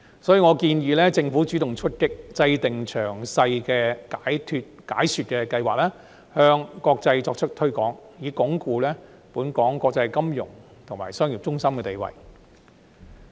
所以，我建議政府主動出擊，制訂詳細的解說計劃，向國際社會作出推廣，以鞏固本港國際金融及商業中心的地位。